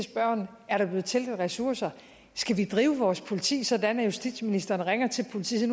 spørgeren er der blevet tilført ressourcer skal vi drive vores politi sådan at justitsministeren ringer til politiet